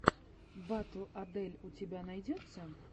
батл адель у тебя найдется